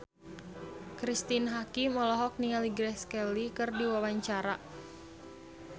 Cristine Hakim olohok ningali Grace Kelly keur diwawancara